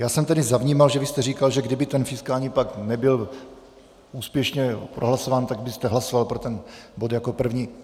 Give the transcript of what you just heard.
Já jsem tedy zavnímal, že jste říkal, že kdyby ten fiskální pakt nebyl úspěšně prohlasován, tak byste hlasoval pro ten bod jako první.